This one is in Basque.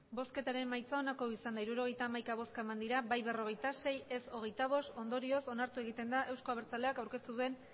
emandako botoak hirurogeita hamaika bai berrogeita sei ez hogeita bost ondorioz onartu egiten da euzko abertzaleak aurkeztu duen